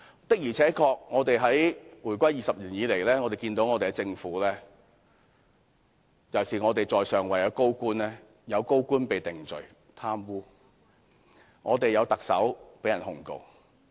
的而且確，回歸20年以來，我們看到政府尤其是在上位的高官的情況，有高官因貪污而被定罪，亦有特首被控告。